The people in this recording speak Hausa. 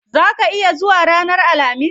Zaa ka iya zuwa ranar alhamis?